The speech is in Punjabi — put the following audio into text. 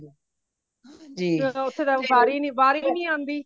ਜਦੋ ਓਥੇ ਜਾਕੇ ਵਾਰੀ ਵਾਰੀ ਨਹੀਂ ਆਂਦੀ